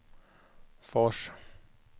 Fors